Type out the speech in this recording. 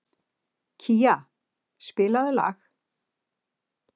Kía, spilaðu lag.